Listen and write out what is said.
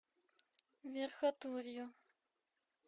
верхотурью